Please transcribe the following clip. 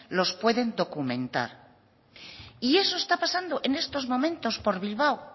los pueden documentar y eso está pasando en estos momentos por bilbao